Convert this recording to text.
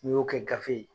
N'i y'o kɛ gafe ye